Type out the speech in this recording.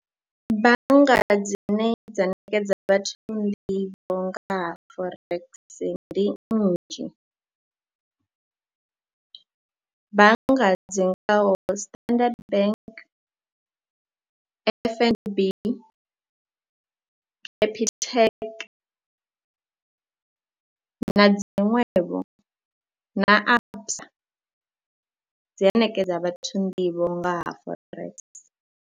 Bannga dzine dza ṋekedza vhathu nḓivho nga ha Forex ndi nnzhi, bannga dzi ngaho Standard Bank, F_N_B, Capitec na dziṅwevho na ABSA dzi a ṋekedza vhathu nḓivho nga ha Forex.